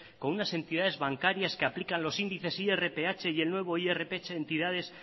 con unas entidades bancarias que aplican los índices irph y el nuevo irph entidades